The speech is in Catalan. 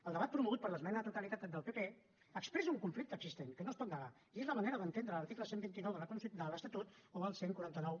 el debat promogut per l’esmena a la totalitat del pp expressa un conflicte existent que no es pot negar i és la manera d’entendre l’article cent i vint nou de l’estatut o el catorze noranta u